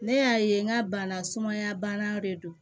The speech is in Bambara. Ne y'a ye n ka bana sumaya bana de don